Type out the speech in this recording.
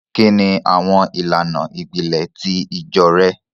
Kíni awọn ilànà ìpílẹ̀ ti ìjọ̀ rẹ̀?